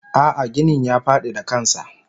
Ah ah ginin ya fadi da kansa.